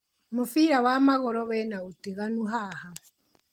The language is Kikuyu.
Mũbira wa magũrũ wĩna ũtiganu haha.